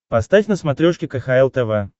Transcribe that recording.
поставь на смотрешке кхл тв